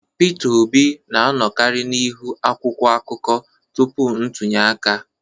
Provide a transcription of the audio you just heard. Peter Obi na-anọkarị n'ihu akwụkwọ akụkọ tupu ntunye aka